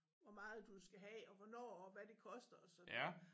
Hvor meget du skal have og hvornår og hvad det koster og sådan noget